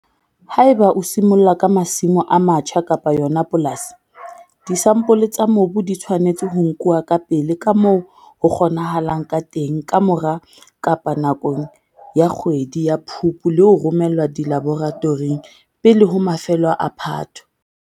Ha eba o simolla ka masimo a matjha kapa yona polasi, disampole tsa mobu di tshwanetse ho nkuwa kapele ka moo ho kgonahalang ka teng ka mora kapa nakong ya kgwedi ya Phupu le ho romellwa dilaboratoring pele ho mafelo a Phato.